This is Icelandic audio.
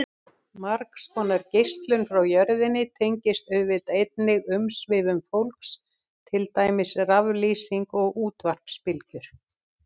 Margs konar geislun frá jörðinni tengist auðvitað einnig umsvifum fólks, til dæmis raflýsing og útvarpsbylgjur.